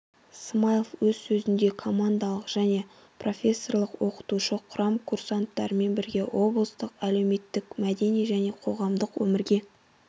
смаилов өз сөзінде командалық және профессорлық-оқытушы құрам курсанттармен бірге облыстың әлеуметтік мәдени және қоғамдық өмірге